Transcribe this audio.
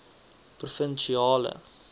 provinsiale